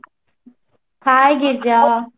hye Girija